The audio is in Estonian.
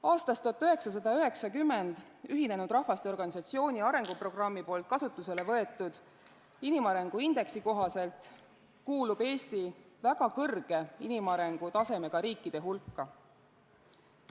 Aastast 1990 Ühinenud Rahvaste Organisatsiooni arenguprogrammi poolt kasutusele võetud inimarengu indeksi kohaselt kuulub Eesti väga kõrge inimarengu tasemega riikide hulka.